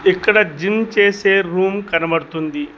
ఇక్కడ జిమ్ చేసే రూమ్ కనబడుతుంది.